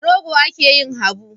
Da rogo ake yin habu.